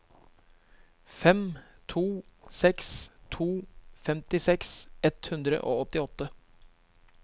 fem to seks to femtiseks ett hundre og åttiåtte